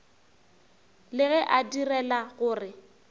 le ge a direla gore